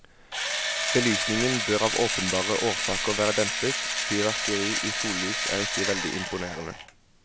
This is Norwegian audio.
Belysningen bør av åpenbare årsaker være dempet, fyrverkeri i sollys er ikke veldig imponerende.